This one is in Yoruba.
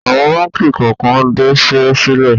Awọ̀n báńkì kọ̀ọ̀kan dasẹ́ sílẹ̀.